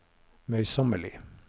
møysommelig